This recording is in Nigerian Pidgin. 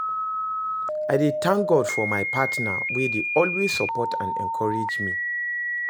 I dey thank God for my partner wey dey always support and encourage me.